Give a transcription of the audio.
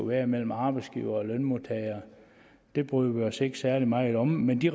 være mellem arbejdsgivere og lønmodtagere det bryder vi os ikke særlig meget om men vi